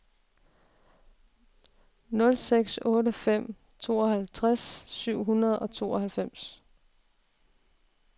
nul seks otte fem tooghalvtreds syv hundrede og tooghalvfems